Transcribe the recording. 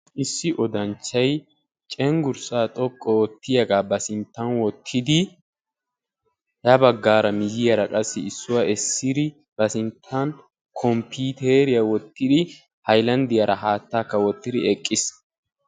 Issi odanchchay cenggurssa xoqqu oottiya ba sintta wottidi ya baggaan qassi issuwa essidi ba sinttan ba sinttan kompiiteriya wottidi haylanddiyaara haattakka wottira eqqiis.